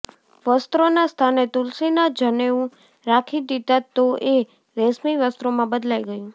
વસ્ત્રોના સ્થાને તુલસીના જનેઉ રાખી દીધા તો એ રેશમી વસ્ત્રોમાં બદલાઈ ગયું